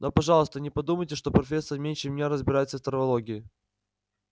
но пожалуйста не подумайте что профессор меньше меня разбирается в травологии